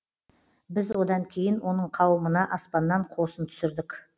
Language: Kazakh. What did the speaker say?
біз одан кейін оның қауымына аспаннан қосын түсірдік